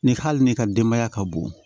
Ni hali ni ka denbaya ka bon